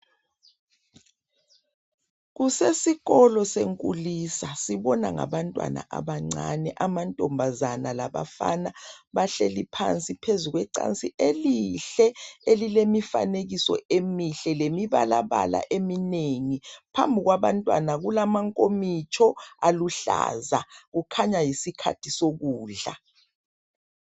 Kusesikolo senkulisa sibona ngabantwana abancane amantombazana labafana, bahleli phansi phezulu kwecansi elihle elilemifanekiso emihle lemibalabala eminengi, phambi kwaba ntwana kulama nkomitsho aluhlaza kukhanya yisikhathi sokudla.